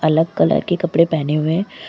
अलग कलर के कपड़े पहने हुए--